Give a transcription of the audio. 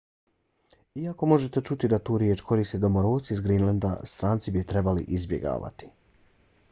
iako možete čuti da tu riječ koriste domoroci s grenlanda stranci bi je trebali izbjegavati